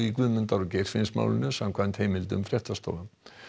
Guðmundar og Geirfinnsmálinu samkvæmt heimildum fréttastofu